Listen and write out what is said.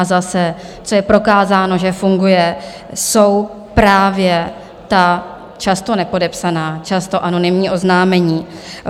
A zase, co je prokázáno, že funguje, jsou právě ta často nepodepsaná, často anonymní oznámení.